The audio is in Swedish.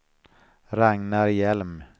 Ragnar Hjelm